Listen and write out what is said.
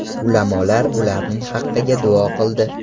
Ulamolar ularning haqiga duo qildi.